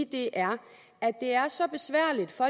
det er så besværligt for